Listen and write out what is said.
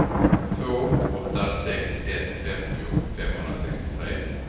två åtta sex ett femtio femhundrasextiotre